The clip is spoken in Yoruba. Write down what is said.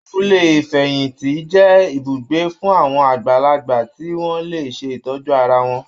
Abúlé Ìfẹ̀yìntì jẹ́ ibùgbé fún àwọn àgbàlagbà tí wọ́n lè ṣe ìtọ́jú ara wọn.